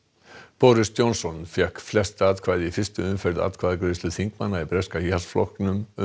boris Johnson fékk flest atkvæði í fyrstu umferð atkvæðagreiðslu þingmanna í breska Íhaldsflokknum um